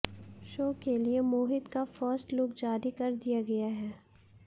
show के लिए मोहित का फर्स्ट लुक जारी कर दिया गया है